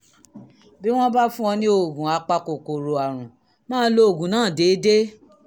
bí wọ́n bá fún ọ ní oògùn apakòkòrò àrùn máa lo oògùn náà déédé